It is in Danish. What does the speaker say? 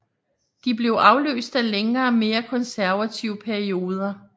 De blev afløst af længere mere konservative perioder